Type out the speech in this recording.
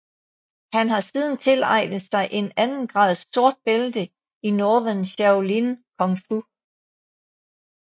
Han har siden tilegnet sig et andengrads sort bælte i Northern Shaolin Kung Fu